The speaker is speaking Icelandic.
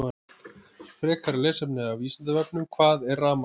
Frekara lesefni af Vísindavefnum: Hvað er rafmagn?